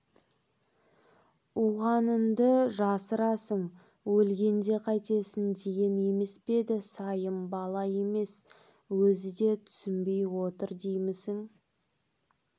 уғаныңды жасырасың өлгенде қайтесің деген емес пе деді сайым бала емес өзі де түсінбей отыр деймісің